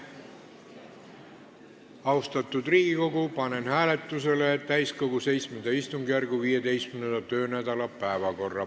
Austatud Riigikogu, panen hääletusele täiskogu VII istungjärgu 15. töönädala päevakorra.